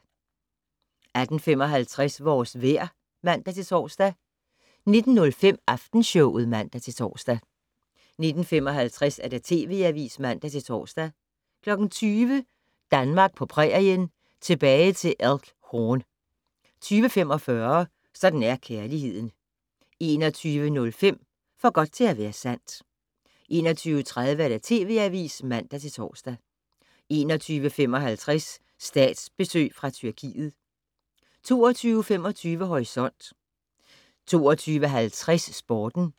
18:55: Vores vejr (man-tor) 19:05: Aftenshowet (man-tor) 19:55: TV Avisen (man-tor) 20:00: Danmark på prærien - Tilbage til Elk Horn 20:45: Sådan er kærligheden 21:05: For godt til at være sandt 21:30: TV Avisen (man-tor) 21:55: Statsbesøg fra Tyrkiet 22:25: Horisont 22:50: Sporten